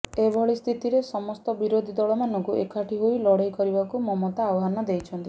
ଏଭଳି ସ୍ଥିତିରେ ସମସ୍ତ ବିରୋଧୀ ଦଳମାନଙ୍କୁ ଏକାଠି ହୋଇ ଲଢ଼େଇ କରିବାକୁ ମମତା ଆହ୍ବାନ ଦେଇଛନ୍ତି